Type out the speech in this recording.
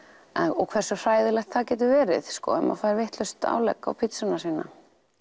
og hversu hræðilegt það getur verið ef maður fær vitlaust álegg á pizzuna sína